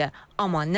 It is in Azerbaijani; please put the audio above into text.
Amma nə vaxt?